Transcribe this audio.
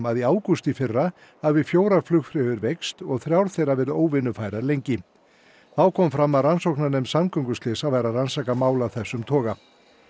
að í ágúst í fyrra hafi fjórar flugfreyjur veikst og þrjár þeirra verið óvinnufærar lengi þá kom fram að rannsóknarnefnd samgönguslysa væri að rannsaka mál af þessum toga